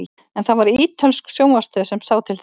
en það var ítölsk sjónvarpsstöð sem sá til þess